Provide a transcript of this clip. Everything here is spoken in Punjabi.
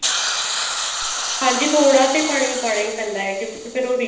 ਹਾਂਜੀ ਥੋੜਾ ਤੇ ਪਾਣੀ ਪਾਉਣਾ ਪੈਂਦਾ ਹੈ ਤੇ ਫ਼ੇਰ ਉਹ